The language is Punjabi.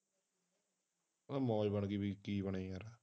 ਆ ਮੌਜ ਵਰਗੀ ਵੀ ਕੋਈ ਚੀਜ ਬਣੇ ਯਾਰ